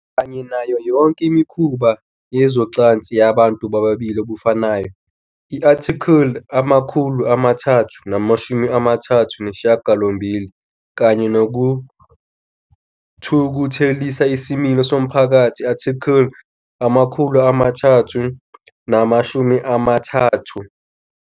Kanye nayo yonke imikhuba yezocansi yabantu bobulili obufanayo, i-Article 338, kanye "nokuthukuthelisa isimilo somphakathi", i-Article 333.